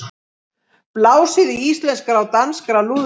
Blásið í íslenska og danska lúðra